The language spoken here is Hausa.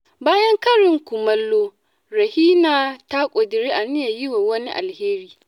Bayan karin kumallo, Rahina ta ƙudiri aniyar yi wa wani alheri.